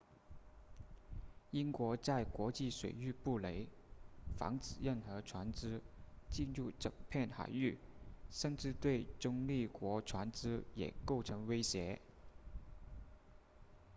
英国在国际水域布雷防止任何船只进入整片海域甚至对中立国船只也构成威胁